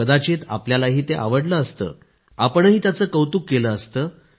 कदाचित आपल्यालाही ते आवडलं असतं आपणही त्याचं कौतुक केलं असतं